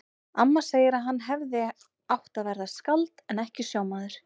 Amma segir að hann hefði átt að verða skáld en ekki sjómaður.